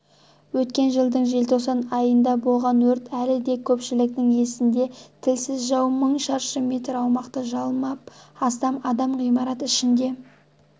өткен жылдың желтоқсан айында болған өрт әлі де көпшіліктің есінде тілсіз жау мың шаршы метр аумақты жалмап астам адам ғимарат ішінде